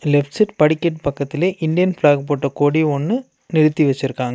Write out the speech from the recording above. Left side படிக்கட் பக்கத்துலே Indian flag போட்ட கொடி ஒன்னு நிறுத்தி வச்சுருக்காங்க.